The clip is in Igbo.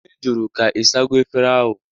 Nne jụrụ ka Ị sago efere ahụ?